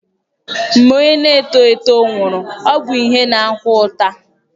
Mgbe onye na-eto eto nwụrụ, ọ bụ ihe na-akwa ụta